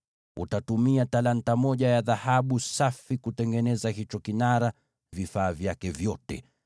Utatumia talanta moja ya dhahabu safi kutengeneza hicho kinara na vifaa vyake vyote.